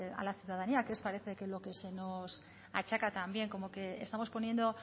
a la ciudadanía que parece que es lo que se nos achaca también como que estamos poniendo